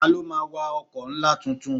Ta ló máa wa ọkọ̀ ńlá tuntun?